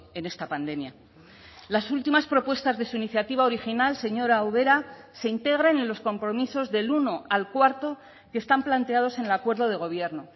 en esta pandemia las últimas propuestas de su iniciativa original señora ubera se integran en los compromisos del uno al cuarto que están planteados en el acuerdo de gobierno